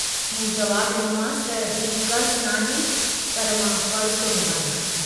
मूं जवाबु डिनोमांस त "हीउ कर्ज़ न आहे पर मां फ़र्जु थो निभायां।